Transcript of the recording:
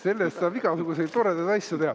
Sellest igasuguseid toredaid asju teha.